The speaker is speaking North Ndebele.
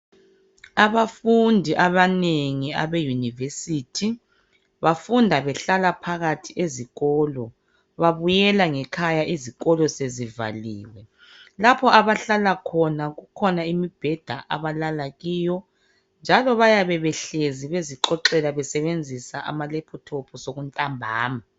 Abafundi abanengi Abe university bafunda behlala phakathi ezikolo babuyela ngekhaya izikolo sezivaliwe. Lapho abahlala khona kukhona imibheda abalala kiyo njalo bayabe behlezi bezixoxela besebenzisa amalaptop sokuntambama